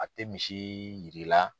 A tɛ misi yir'i la.